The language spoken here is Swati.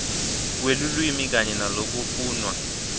kwelulwimi kanye nalokufunwa